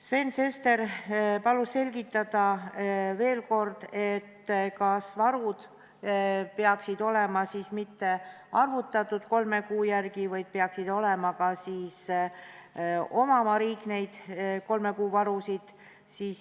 Sven Sester palus veel kord selgitada, kas varud ei peaks olema mitte ainult arvutatud kolme kuu järgi, vaid kas riik peaks ka omama neid kolme kuu varusid.